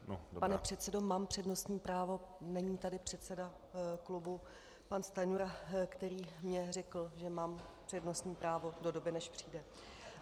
Pane předsedo, mám přednostní právo, není tady předseda klubu pan Stanjura, který mi řekl, že mám přednostní právo do doby, než přijde.